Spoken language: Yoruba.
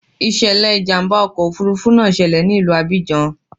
Ìṣẹ̀lẹ̀ ìjàmbá ọkọ̀ òfuurufú náà ṣẹlẹ̀ ní ìlú Abidjan.